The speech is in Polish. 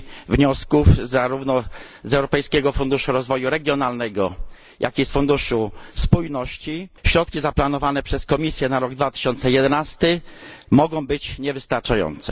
wniosków zarówno z Europejskiego Funduszu Rozwoju Regionalnego, jak i z Funduszu Spójności, środki zaplanowane przez Komisję na rok 2011 mogą być niewystarczające.